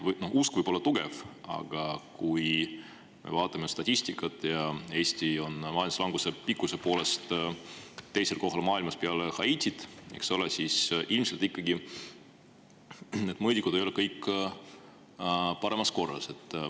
Usk võib olla tugev, aga kui me vaatame statistikat – Eesti on majanduslanguse pikkuse poolest teisel kohal maailmas peale Haitit –, siis ilmselt need mõõdikud ei ole ikkagi kõige paremas korras.